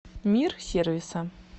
мир сервиса